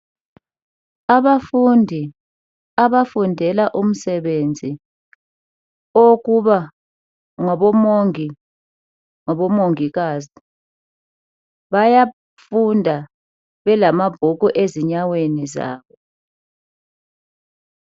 abafundi abafundela umsebenzi owokuba ngabomongikazi bayafunda belamabhuku ezinyaweni zabo